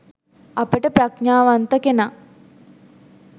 අපට ප්‍රඥාවන්තකෙනා